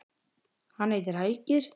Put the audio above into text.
Hann heitir Helgi.